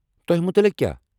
تۄہہِ متلق کیٛاہ؟